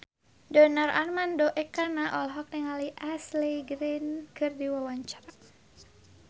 Donar Armando Ekana olohok ningali Ashley Greene keur diwawancara